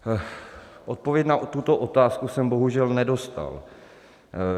Odpověď na tuto otázku jsem bohužel nedostal.